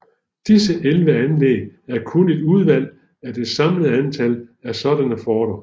Disse 11 anlæg er kun et udvalg af det samlede antal af sådanne forter